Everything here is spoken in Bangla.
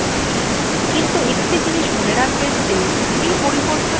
আমরা অনেক environment variable কে অনেক মান প্রদান করেছি